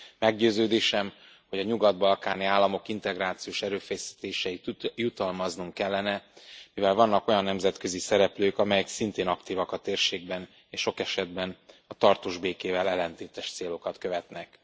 Meggyőződésem, hogy a nyugat balkáni államok integrációs erőfeszítéseit jutalmaznunk kellene, mivel vannak olyan nemzetközi szereplők, amelyek szintén aktívak a térségben, és sok esetben a tartós békével ellentétes célokat követnek.